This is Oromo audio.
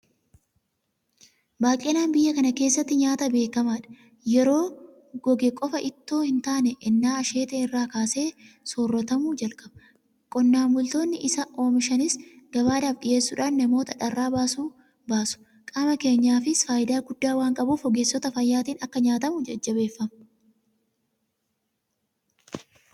Baaqelaan biyya kana keessatti nyaata beekamaadha. Yeroo goge qofa itoo hintaane ennaa asheete irraa kaasee soorratamuu jalqaba. Qonnaan bultoonni isa oomishanis gabaadhaaf dhiyeessuudhaan namoota dharraa baasu. Qaama keenyaafis faayidaa guddaa waanqabuuf ogeessota fayyaatiin akka nyaatamu jajjabeeffama.